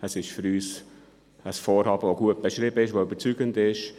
Es ist ein Vorhaben, das gut beschrieben ist, das überzeugend ist.